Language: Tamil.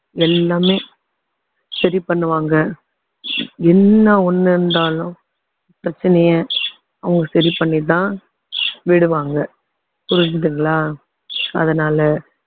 எல்லாமே சரி பண்ணுவாங்க என்ன ஒண்ணு இருந்தாலும் பிரச்சனைய அவங்க சரி பண்ணிதான் விடுவாங்க புரிஞ்சுதுங்களா அதனால